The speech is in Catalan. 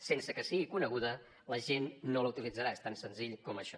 sense que sigui coneguda la gent no la utilitzarà és tan senzill com això